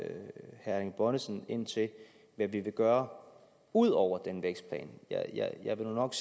erling bonnesen ind til hvad vi vil gøre ud over den vækstplan jeg vil nu nok